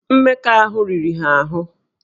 Mmekọahụ riri ha ahụ